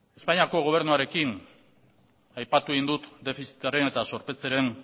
espainiako gobernuarekin aipatu egin dut defizitaren eta zorpetzearen